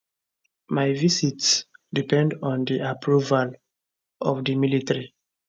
my visits depend on di approval of di military